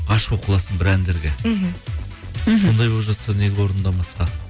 ғашық болып қаласың бір әндерге мхм мхм сондай болып жатса неге орындамасқа